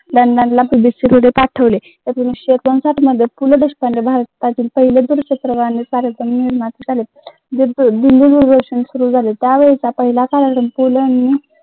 एकोणविसशे एकोणसाठ मध्ये पु ल देशपांडे भारतातील पहिले दूरचित्रवाणी